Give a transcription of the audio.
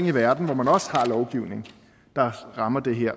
i verden hvor man også har lovgivning der rammer det her